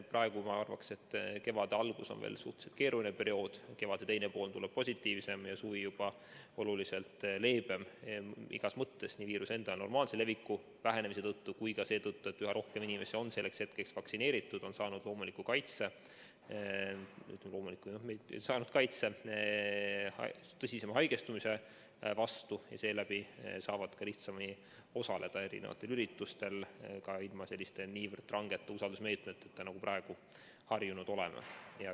Praegu ma arvan, et kevade algus on veel suhteliselt keeruline periood, kevade teine pool tuleb positiivsem ja suvi juba oluliselt leebem igas mõttes, nii viiruse enda normaalse leviku vähenemise tõttu kui ka seetõttu, et üha rohkem inimesi on vaktsineeritud, on saanud kaitse tõsisema haigestumise vastu ja seeläbi saavad lihtsamini osaleda üritustel ka ilma niivõrd rangete usaldusmeetmeteta, nagu me praegu harjunud oleme.